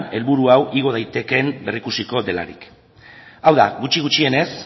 helburu hau igo daitekeen berrikusiko delarik hau da gutxi gutxienez